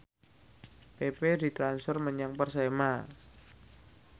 pepe ditransfer menyang Persema